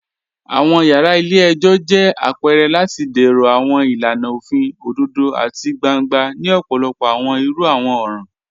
Awọn yara ilẹ̀-ẹ̀jọ jẹ̀ apẹ̀rẹ̀ lati dẹ̀rọ̀ awọn ilànà ofin odòdò àti gbàńgbà ni ọ̀pọ̀lọ̀pọ̀ awọn irú awọn ọran